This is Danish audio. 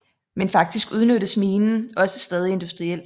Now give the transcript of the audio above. Men faktisk udnyttes minen også stadig industrielt